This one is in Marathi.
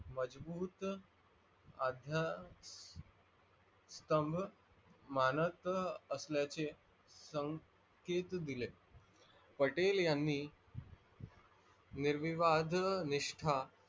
मजबूत अध्याय सोमर मानत असल्याचे संकेत दिले. पटेलयांनी निर्विवाधी निष्टा